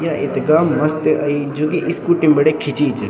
या इथगा मस्त अई जू की स्कूटी बिटिन खिची च।